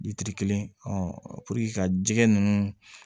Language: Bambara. kelen ka jɛgɛ ninnu